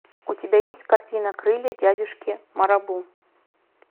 у тебя есть картина крылья дядюшки марабу